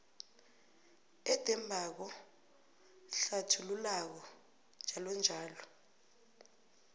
edembako hlathululako njll